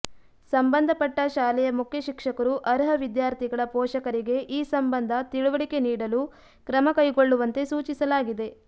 ಸಂಬಂಧಪಟ್ಟ ಶಾಲೆಯ ಮುಖ್ಯ ಶಿಕ್ಷಕರು ಅರ್ಹ ವಿದ್ಯಾರ್ಥಿಗಳ ಪೋಷಕರಿಗೆ ಈ ಸಂಬಂಧ ತಿಳುವಳಿಕೆ ನೀಡಲು ಕ್ರಮ ಕೈಗೊಳ್ಳುವಂತೆ ಸೂಚಿಸಲಾಗಿದೆ